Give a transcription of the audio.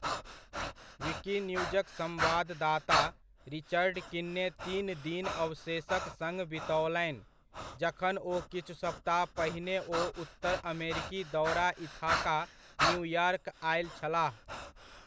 विकिन्यूजक सम्वाददाता, रिचर्ड किन्ने तीन दिन अवशेषक सङ्ग बितओलनि, जखन ओ किछु सप्ताह पहिने ओ उत्तर अमेरिकी दौरा इथाका, न्यूयॉर्क आयल छलाह ।